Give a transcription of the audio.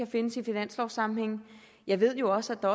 findes i finanslovssammenhæng jeg ved jo også at